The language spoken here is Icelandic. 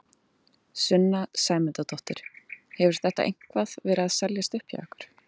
Sunna Sæmundsdóttir: Hefur þetta eitthvað verið að seljast upp hjá ykkur?